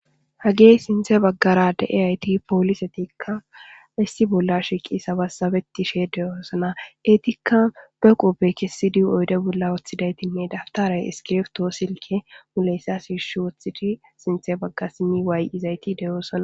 hagey sinthe baggarade eyayti poolisetikka issi bolla shiqi sabassabeti shee deyoosana etikka beqopbe kessidi oyde bolla wooththidaytinne daftaray iskireftoo silke muleyssa shiish woththidi sinthe baggasimi waay7izayti deyoosana